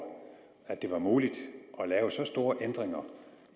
at det var muligt at lave så store ændringer